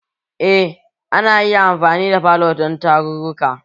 Eh ana iya amfani da falo dan tarruruka